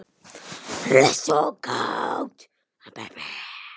Hress og kát.